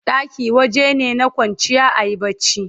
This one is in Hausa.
ɗaki wajene na kwanciya ayi barci